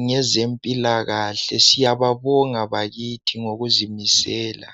ngezempilakahle. Siyababonga bakithi ngokuzimisela.